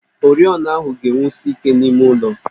Oriọna ahụ ga-enwusi ike n'ime ụlọ